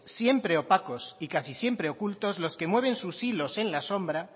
siempre opacos y casi siempre ocultos los que mueven sus hilos en la sombra